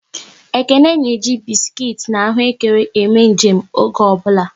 Ekene na eji biskuit na ahụekere eme nje m oge ọ bụla